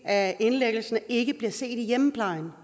af indlæggelserne ikke bliver set i hjemmeplejen